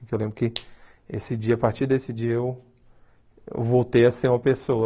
Eu lembro que esse dia a partir desse dia eu eu voltei a ser uma pessoa.